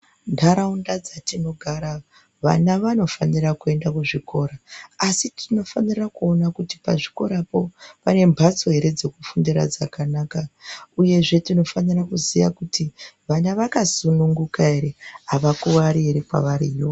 Ntaraunda dzatinogara vana vanofanira kuenda kuzvikora asi tinofanira kuona kuti pazvikorapo pane mbatso ere dzekufundira dzakanaka uyezve tinofanira kuziya kuti vana vakasununguka ere avakuwari ere kwavariyo.